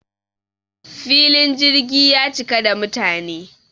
filin jirgi ya cika da mutane